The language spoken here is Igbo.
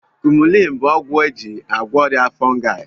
Kumulini bụ ọgwụ eji agwọ ọrịa fongai